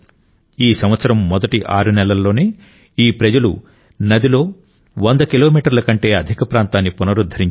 ఈ సంవత్సరం మొదటి ఆరు నెలల్లోనే ఈ ప్రజలు నదిలో 100 కిలోమీటర్ల కంటే అధిక ప్రాంతాన్ని పునరుద్ధరించారు